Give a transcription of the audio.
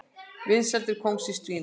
Vinsældir kóngsins dvína